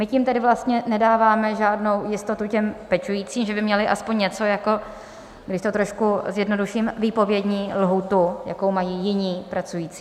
My tím tedy vlastně nedáváme žádnou jistotu těm pečujícím, že by měli aspoň něco jako, když to trošku zjednoduším, výpovědní lhůtu, jakou mají jiní pracující.